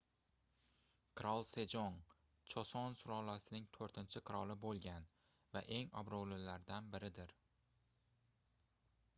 qirol sejong choson sulolasining toʻrtinchi qiroli boʻlgan va eng obroʻlilaridan biridir